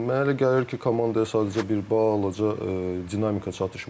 Mənə elə gəlir ki, komandaya sadəcə bir balaca dinamika çatışmır.